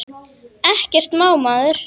Ekkert má maður!